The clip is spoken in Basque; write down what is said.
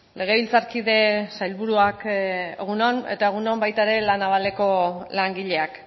legebiltzarkide sailburuak egun on eta egun on baita ere la navaleko langileak